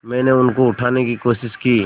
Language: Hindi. मैंने उनको उठाने की कोशिश की